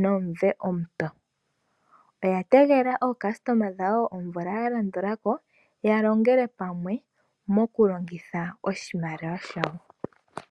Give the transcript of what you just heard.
nomumvo omupe, oya tegelela akuthimbinga yawo omvula ya landula ko yalongele pamwe mokulongitha ombaanga yawo.